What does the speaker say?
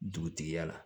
Dugutigiya la